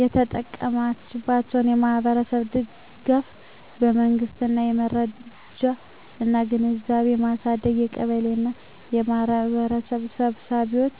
የተጠቀማችንባቸው የማኅበረሰብ ድጋፍ መንገዶች የመረጃ እና ግንዛቤ ማሳደግ በቀበሌ እና በማኅበረሰብ ስብሰባዎች